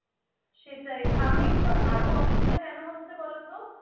সেটাই আমি আরও অসুবিধা কেন হচ্ছে বলতো?